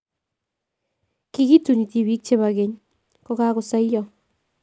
Kikituni tibiik chekibo keny kokakosoyo